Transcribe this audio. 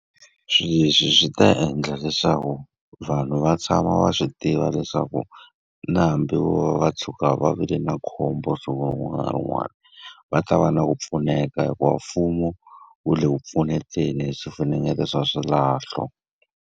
Swilo leswi swi ta endla leswaku vanhu va tshama va swi tiva leswaku na hambi vo va va tshuka va vi le na khombo siku rin'wana na rin'wana, va ta va na ku pfuneka hikuva mfumo wu le ku pfuneni hi swifunengeto swa swilahlo.